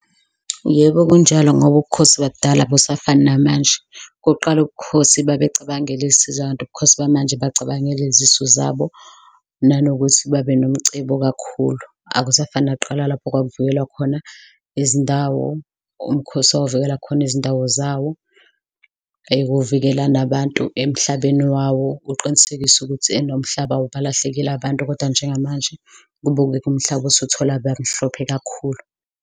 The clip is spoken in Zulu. Yebo, kunjalo ngoba ubukhosi bakudala abusafani namanje, okokuqala ubukhosi babecabangela isizwe kanti ubukhosi bamanje bacabangela izisu zabo nanokuthi babe nomcebo kakhulu. Akusafani nakuqala lapho kwakuvikelwa khona izindawo, umkhosi wawuvikela khona izindawo zawo, kuvikela nabantu emhlabeni wawo, uqinisekise ukuthi nomhlaba awubalahlekeli abantu kodwa njengamanje kubukeka umhlaba usuthola abamhlophe kakhulu.